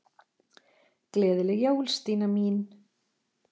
Gleðileg jól, Stína mín.